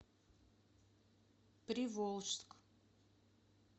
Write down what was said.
приволжск